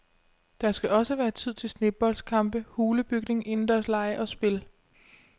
Der skal også være tid til sneboldkampe, hulebygning, indendørslege og spil.